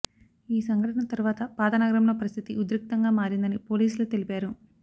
ఈ సంఘటన తర్వాత పాతనగరంలో పరిస్థితి ఉద్రిక్తంగా మారిందని పోలీసులు తెలిపారు